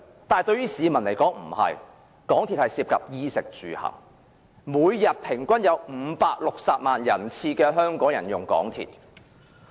對於市民來說，港鐵涉及"衣、食、住、行"，香港每天平均有560萬人次乘坐港鐵。